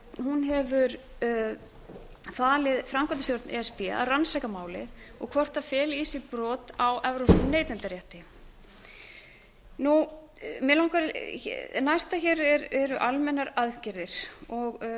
hún hefur falið framkvæmdastjórn e s b að rannsaka málið og hvort það feli í sér brot á evrópskum neytendarétti næsta hér eru almennar aðgerðir það hefur